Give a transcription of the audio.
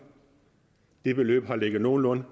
det beløb har ligget nogenlunde